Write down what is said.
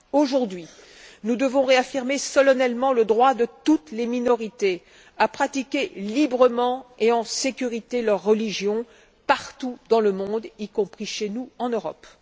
Aujourd'hui, nous devons réaffirmer solennellement le droit de toutes les minorités à pratiquer librement et en sécurité leur religion partout dans le monde, y compris chez nous en Europe.